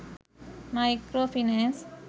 micro finance